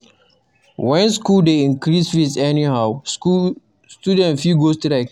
When school dey increase fees anyhow, students fit go strike.